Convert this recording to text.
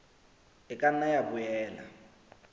e ka nna ya boela